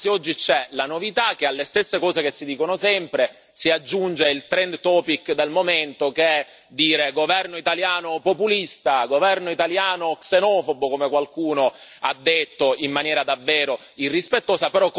Anzi, oggi c'è la novità che, alle stesse cose che si dicono sempre, si aggiunge il del momento che è dire governo italiano populista, governo italiano xenofobo, come qualcuno ha detto in maniera davvero irrispettosa.